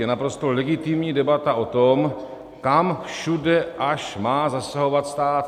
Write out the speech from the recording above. Je naprosto legitimní debata o tom, kam všude až má zasahovat stát.